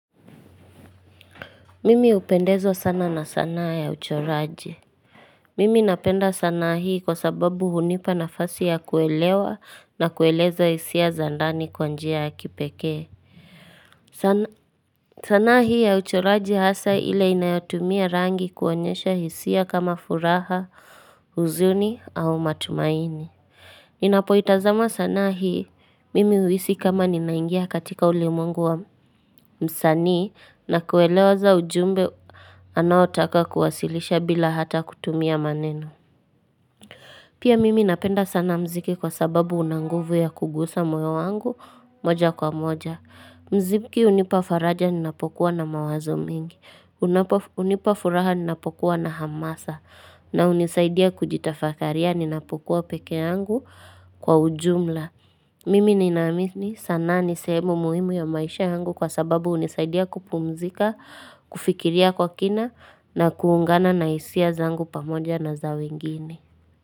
Mimi upendezwa sana na sanaa ya uchoraje. Mimi napenda sanaa hii kwa sababu hunipa na fasi ya kuelewa na kueleza hisia za ndani kwanjia ya kipekee. Sanaa hii ya uchoraje hasa ile inayotumia rangi kuonyesha hisia kama furaha, uzuni au matumaini. Ninapo itazama sana hii mimi uhisi kama ninaingia katika ulimwengu wa msanii na kuelewa za ujumbe anaotaka kuwasilisha bila hata kutumia maneno Pia mimi napenda sana mziki kwa sababu unanguvu ya kugusa moyo wangu moja kwa moja Mziki unipafaraja ninapokuwa na mawazo mingi Unipafuraha ninapokuwa na hamasa na unisaidia kujitafakaria ninapokuwa pekee yangu kwa ujumla Mimi ninamini sanaa ni sehemu muhimu ya maisha yangu kwa sababu unisaidia kupumzika, kufikiria kwa kina na kuungana na hisia zangu pamoja na za wengine.